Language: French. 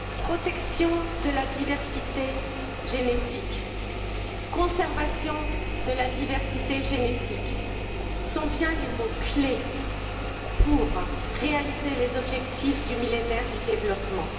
Protection de la diversité génétique, conservation de la diversité génétique sont bien les mots clés pour réaliser les objectifs du Millénaire pour le développement.